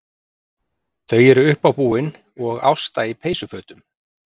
Þau eru uppábúin og Ásta í peysufötum.